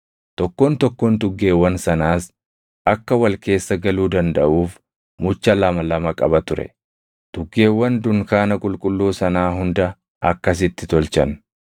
Tokkoon tokkoon tuggeewwan sanaas akka wal keessa galuu dandaʼuuf mucha lama lama qaba ture. Tuggeewwan dunkaana qulqulluu sanaa hunda akkasitti tolchan.